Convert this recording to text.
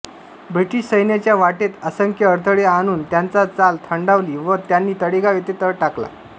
British सैन्याच्या वाटेत असंख्य अडथळे आणून त्यांचा चाल थंडावली व त्यांनी तळेगाव येथे तळ टाकला